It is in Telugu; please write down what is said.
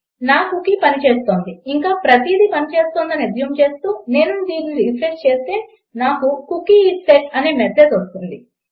నా కుకీ పని చేస్తోంది ఇంకా ప్రతిదీ పని చేస్తోందని అస్యూమ్ చేస్తూ నేను దీనిని రిఫ్రెష్ చేస్తే నాకు కుకీ ఐఎస్ సెట్ అనే మెసేజ్ వస్తుంది